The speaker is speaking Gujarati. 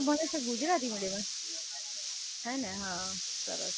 હે ને હાં, સરસ, સરસ.